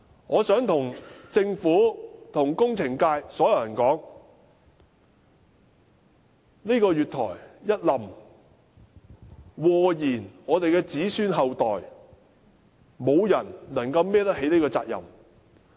我想對政府及工程界所有人說，如果月台塌下來，會禍延子孫後代，沒有人能背負這個責任。